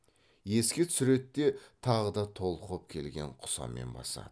еске түсіреді де тағы да толқып келген құсамен басады